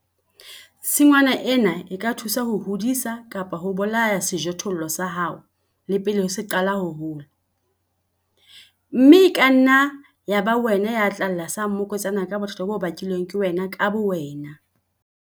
Tshingwana ena e ka thusa ho hodisa kapa ho bolaya sejothollo sa hao le pele se qala ho hola, mme e ka nna ya ba wena ya tla lla sa mmokotsana ka bothata bo bakilweng ke wena ka bowena!